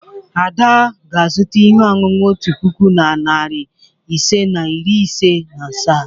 Ada ga-azụta ihe ọṅụṅụ otu puku na narị ise na iri ise na asaa.